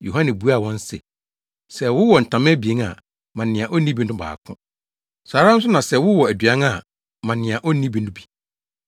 Yohane buaa wɔn se, “Sɛ wowɔ ntama abien a, ma nea onni bi no baako. Saa ara nso na sɛ wowɔ aduan a, ma nea onni bi no bi.”